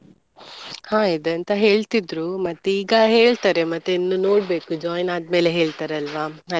ಹ ಇದೆ ಅಂತ ಹೇಳ್ತಿದ್ರು ಮತ್ತೀಗ ಹೇಳ್ತಾರೆ ಮತ್ತೆ ಇನ್ನು ನೋಡ್ಬೇಕು join ಆದ್ಮೇಲೆ ಹೇಳ್ತಾರೆ ಅಲ್ವ.